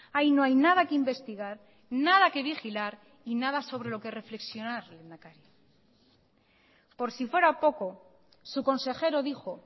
ahí no hay nada que investigar nada que vigilar y nada sobre lo que reflexionar lehendakari por si fuera poco su consejero dijo